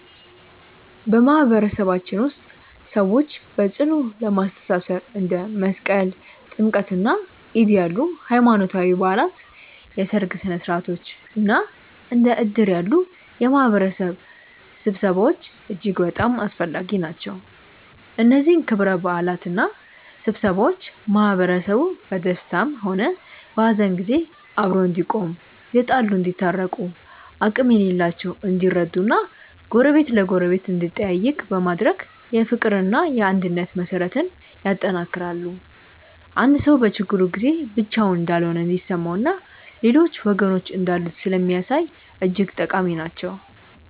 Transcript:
በማህበረሰባችን ውስጥ ሰዎችን በጽኑ ለማስተሳሰር እንደ መስቀል፣ ጥምቀትና ዒድ ያሉ ሃይማኖታዊ በዓላት፣ የሠርግ ሥነ ሥርዓቶች እና እንደ እድር ያሉ የማህበረሰብ ስብሰባዎች እጅግ በጣም አስፈላጊ ናቸው። እነዚህ ክብረ በዓላትና ስብሰባዎች ማህበረሰቡ በደስታም ሆነ በሐዘን ጊዜ አብሮ እንዲቆም፣ የተጣሉ እንዲታረቁ፣ አቅም የሌላቸው እንዲረዱ እና ጎረቤት ለጎረቤት እንዲጠያየቅ በማድረግ የፍቅርና የአንድነት መሠረትን ያጠነክራሉ። አንድ ሰው በችግሩ ጊዜ ብቻውን እንዳልሆነ እንዲሰማውና ሌሎች ወገኖች እንዳሉት ስለሚያሳይ እጅግ ጠቃሚ ናቸው።